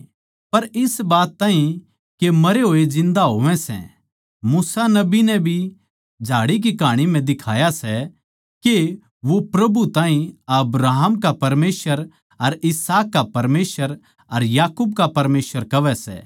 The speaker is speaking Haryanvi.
पर इस बात ताहीं के मरे होए जिन्दा होवै सै मूसा नबी नै भी झाड़ी की कहाँनी म्ह दिखाया सै के वो प्रभु ताहीं अब्राहम का परमेसवर अर इसहाक का परमेसवर अर याकूब का परमेसवर कहवै सै